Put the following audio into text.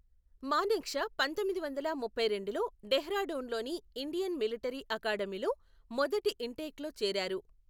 మానేక్షా పంతొమ్మిది వందల ముప్పై రెండులో డెహ్రాడూన్లోని ఇండియన్ మిలిటరీ అకాడమీలో మొదటి ఇన్టేక్లో చేరారు.